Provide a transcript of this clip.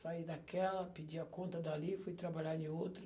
Saí daquela, pedi a conta dali, fui trabalhar em outra.